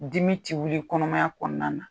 Dimi tɛ wili kɔnɔmaya kɔnɔna na.